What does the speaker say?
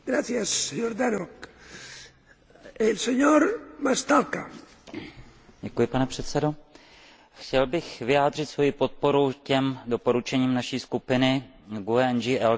Chtěl bych vyjádřit svoji podporu těm doporučením naší skupiny GUE NGL, která naznačují komplexní chápání lidských práv v neoddělitelné spojitosti se sociálními a politickými právy.